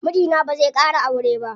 Mijina bazai ƙara aure ba.